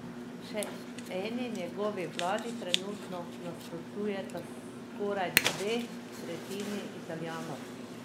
Še eni njegovi vladi trenutno nasprotujeta skoraj dve tretjini Italijanov.